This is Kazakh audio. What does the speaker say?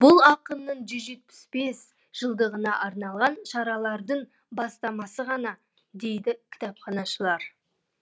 бұл ақынның жүз жетпіс бес жылдығына арналған шаралардың бастамасы ғана дейді кітапханашылар